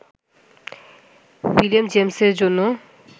William জেমসের জন্য